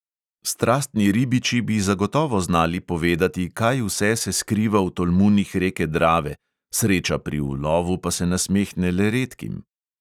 Strastni ribiči bi zagotovo znali povedati, kaj vse se skriva v tolmunih reke drave, sreča pri ulovu pa se nasmehne le redkim.